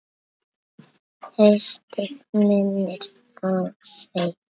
Haustið minnir á sig.